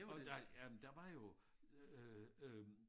Jamen der jamen der var jo øh øh